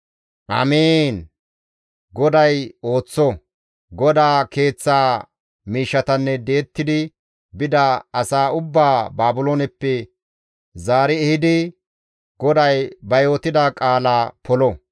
«Amiin! GODAY ooththo! GODAA Keeththaa miishshatanne di7ettidi bida asaa ubbaa Baabilooneppe zaari ehidi GODAY ba yootida qaala polo!